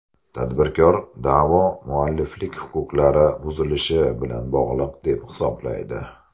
Tadbirkor da’vo mualliflik huquqlari buzilishi bilan bog‘liq deb hisoblaydi.